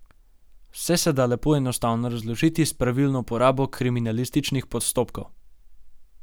Vse se da lepo enostavno razložiti s pravilno uporabo kriminalističnih postopkov.